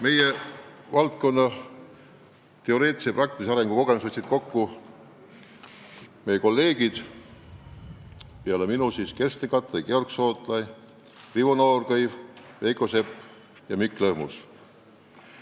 Meie valdkonna teoreetilise ja praktilise arengu kogemused võttis kokku töögrupp, kuhu peale minu kuuluvad ka minu kolleegid Kersten Kattai, Georg Sootla, Rivo Noorkõiv, Veiko Sepp ja Mikk Lõhmus.